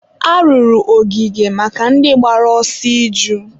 a rụrụ ogige maka ndị gbara ọsọ iju